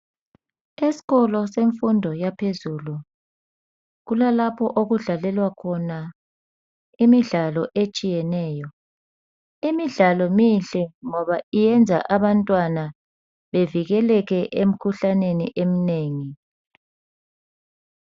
Esikolo semfundo yaphezulu kula lapho okudlalelwa khona imidlalo etshiyeneyo. Imidlalo mihle ngoba iyenza abantwana belekeleke emikhuhlaneni eminengi.